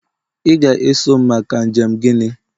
ị ga-eso m maka njem gini